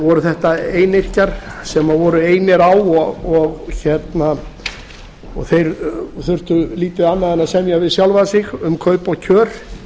voru þetta einyrkjar sem voru einir á og þeir þurftu lítið annað en að semja við sjálfa sig um kaup og kjör